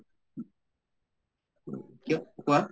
কিয় কোৱা